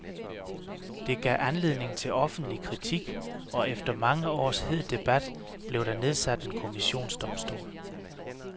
Det gav anledning til offentlig kritik, og efter mange års hed debat blev der nedsat en kommissionsdomstol.